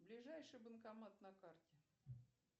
ближайший банкомат на карте